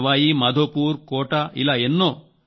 సవాయి మాధోపూర్కోటా ఇలా ఎన్నో